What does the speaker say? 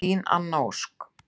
Þín Anna Ósk.